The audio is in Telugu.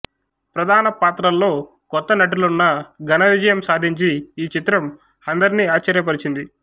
ప్రధాన పాత్రలలో క్రొత్త నటులున్నా ఘనవిజయం సాధించి ఈ చిత్రం అందరినీ ఆశ్చర్యపరచింది